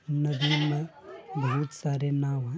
नदी में बहुत सारे नाव है।